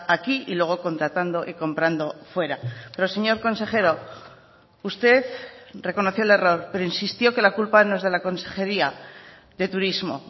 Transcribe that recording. aquí y luego contratando y comprando fuera pero señor consejero usted reconoció el error pero insistió que la culpa no es de la consejería de turismo